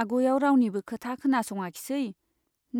आग'याव रावनिबो खोथा खोनासङाखिसै ,